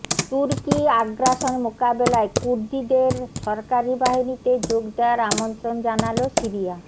তুর্কি আগ্রাসন মোকাবেলায় কুর্দিদের সরকারি বাহিনীতে যোগ দেয়ার আমন্ত্রণ জানালো সিরিয়া